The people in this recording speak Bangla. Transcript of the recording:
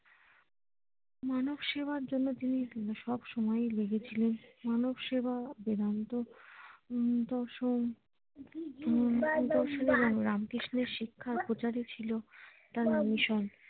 মানব সেবার জন্য তিনি সব সময় লেগে ছিলেন মানব সেবা বেদান্ত হম দশম হম রামকৃষ্ণের শিক্ষা উপচারী ছিল তার নামি সংক